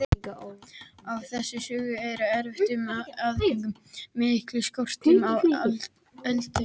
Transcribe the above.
Af þessum sökum var erfitt um aðföng og mikill skortur á eldiviði.